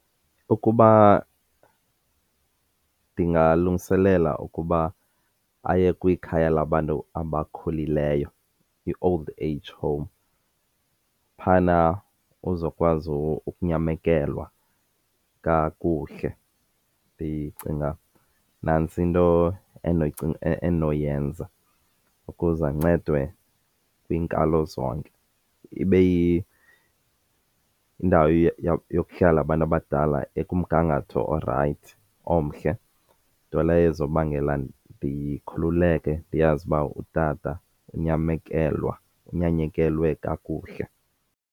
Ukuba ndingalungiselela ukuba aye kwikhaya labantu abakhulileyo, i-old age home, phayana uzokwazi ukunyamekelwa kakuhle. Ndicinga nantso into endinoyenza ukuze ancedwe kwiinkalo zonke. Ibe yindawo yokuhlala abantu abadala ekumgangatho orayithi omhle. Nto leyo ezobangela ndikhululeke ndiyazi uba utata unyamekelwa, unyanyekelwe kakuhle.